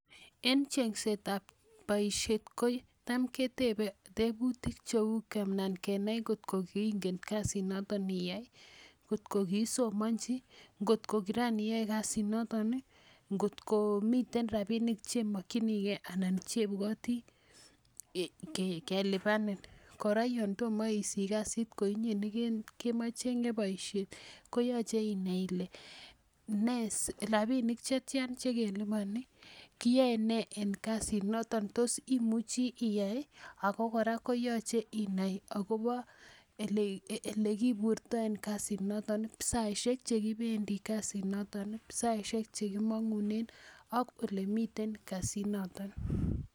En cheng'set ap poishet ko tam ketepe teputiik che u , kenai ngot ko kiingen kasinoton iyai i, ngotok ko kiisomanchi, ngot ko kiraniyae kasinotok i, ngot ko motei rapinik che imakchinigei anan che ipwati kelipanin. Kora yan toma isich kasit ko inye ne kecheg'e poishet ko yache inai ile rapinik che tia che kelipani, kiyae nee eng' kasinoton ako tos imuchi iyai i, ako kora ko yache inai akopa elekipurtai eng' kasinoton ,saishek che kipendi kasinoton i, saishek che ki mang'unen ak ole miten kasinoton.